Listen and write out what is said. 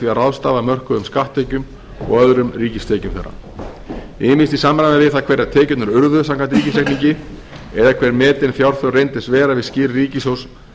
að ráðstafa mörkuðum skatttekjum og öðrum ríkistekjum þeirra ýmist í samræmi við það hverjar tekjurnar urðu samkvæmt ríkisreikningi eða hver metin fjárþörf reyndist vera við skil ríkissjóðs